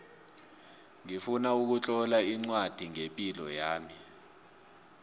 ngifuna ukutlola ncwadi ngepilo yami